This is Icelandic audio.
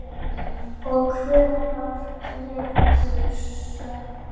Og hvar liggur sökin?